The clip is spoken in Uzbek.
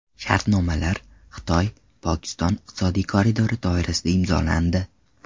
Shartnomalar Xitoy-Pokiston iqtisodiy koridori doirasida imzolandi.